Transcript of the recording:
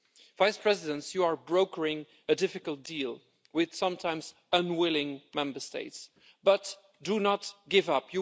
Vice Presidents, you are brokering a difficult deal with sometimes unwilling Member States, but do not give up.